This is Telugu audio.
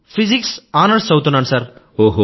నేను ఫిజిక్స్ ఆనర్స్ చదువుతున్నాను సర్